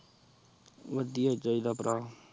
ਵਾਦਿਯ ਹੀ ਚਿੜਾ ਪਰ